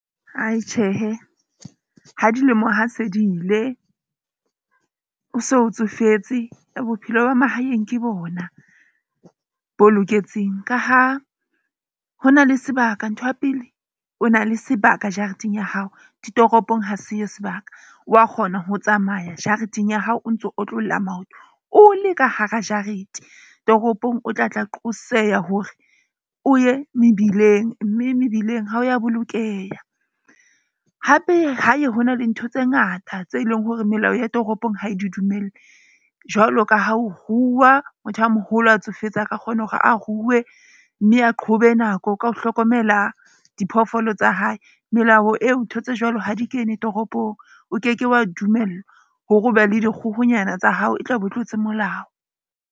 Tjhehe, ha dilemo ha se di ile, o so o tsofetse bophelo ba mahaeng, ke bona bo loketseng ka ha ho na le sebaka. Ntho ya pele o na le sebaka jareteng ya hao. Ditoropong ha se yo sebaka wa kgona ho tsamaya jareteng ya hao, o ntso otlolla maoto o le ka hara jarete. Toropong o tla qoqosela hore o ye mebileng mme mebileng ha ya bolokeha. Hape hae ho na le ntho tse ngata tse leng hore melao ya toropong ha di dumelle. Jwalo ka ha ho rua, motho a moholo a tsofetse aka kgona hore a ruwe. Mme a qhobe nako ka ho hlokomela diphoofolo tsa hae, melao eo. Ntho tse jwalo ha di kene toropong. O ke ke wa dumellwa hore o be le dikgohonyana tsa hao e tla be o tlotse molao.